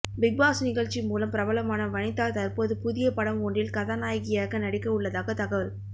Bigg Boss நிகழ்ச்சி மூலம் பிரபலமான வனிதா தற்போது புதிய படம் ஒன்றில் கதாநாயகியாக நடிக்க உள்ளதாக தகவல்